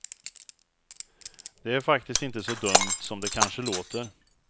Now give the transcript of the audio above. Det är faktiskt inte så dumt som det kanske låter.